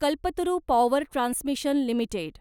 Kalpataru power transmission limited